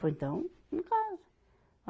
Falei, então, não casa.